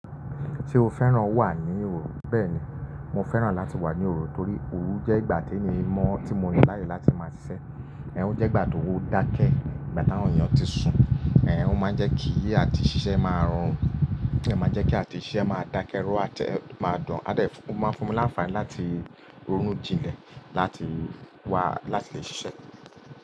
Tí o féràn wà ní òru, bẹ́ẹ̀ni mo féràn láti wà ní òru torí òru jẹ́ ìgbà tí èmi mọ̀ tí mo ní láyé láti máa ṣiṣẹ́. Ẹ̀h, ẹ́ jẹ́ ìgbà tó dá kẹ́ ìgbà táwọn èèyàn ti sùn, ẹ̀ máa ń jẹ́ kí àti ìṣiṣẹ́ máa rorùn, ẹ̀ máa ń jẹ́ kí àti ìṣiṣẹ́ máa dákẹ́ ró àtẹ máa dùn, àdẹ̀ ẹ́ máa fún mi láǹfààní láti rún jinlẹ̀ láti wá láti lè ṣiṣẹ́.